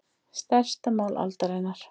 Stærsta mál aldarinnar